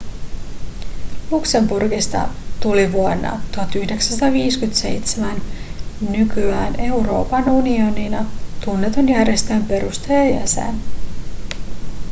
luxemburgista tuli vuonna 1957 nykyään euroopan unionina tunnetun järjestön perustajajäsen